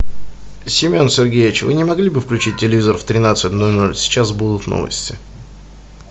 семен сергеевич вы не могли бы включить телевизор в тринадцать ноль ноль сейчас будут новости